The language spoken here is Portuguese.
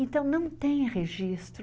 Então, não tem registro.